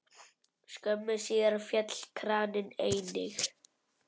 Skömmu síðar féll kraninn einnig.